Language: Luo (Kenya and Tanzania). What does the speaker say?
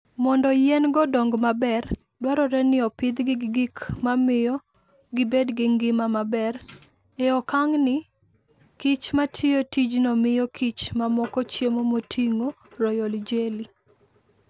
Mondo yien go dongo maber, dwarore ni opidhgi gi gik mamiyo gibedo gi ngima maber. E okang'ni, kich ma tiyo tijno miyo kich mamoko chiemo moting'o royal jelly